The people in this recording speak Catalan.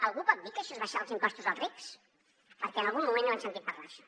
algú pot dir que això és abaixar els impostos als rics perquè en algun moment n’hem sentit parlar d’això